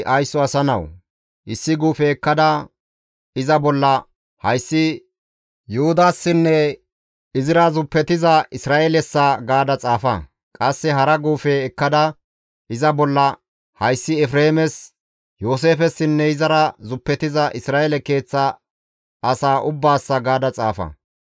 «Haysso asa nawu! Issi guufe ekkada iza bolla, ‹Hayssi Yuhudassinne izira zuppetiza Isra7eelessa› gaada xaafa; qasse hara guufe ekkada iza bolla, ‹Hayssi Efreemes, Yooseefessinne izara zuppetiza Isra7eele keeththa asaa ubbaassa› gaada xaafa.